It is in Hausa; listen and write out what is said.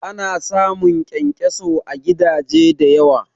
Ana samun kyankyaso à gidaje da yawa